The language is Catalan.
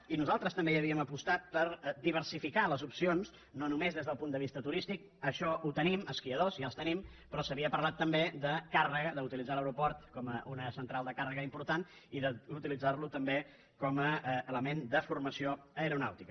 i nosaltres també hi havíem apostat per diversificar les opcions no només des del punt de vista turístic això ho tenim esquiadors ja els tenim però s’havia parlat també de càrrega d’utilitzar l’aeroport com una central de càrrega important i d’utilitzar lo també com a element de formació aeronàutica